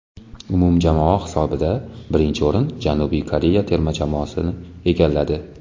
Umumjamoa hisobida birinchi o‘rin Janubiy Koreya terma jamoasi egalladi.